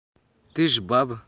ты же баба